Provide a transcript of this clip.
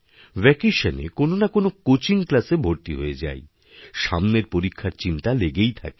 vacation এ কোন না কোন কোচিং ক্লাসএ ভর্তি হয়ে যাই সামনেরপরীক্ষার চিন্তা লেগেই থাকে